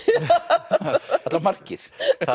alla vega margir